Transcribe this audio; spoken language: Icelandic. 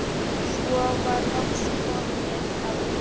Svo var loks komið að mér.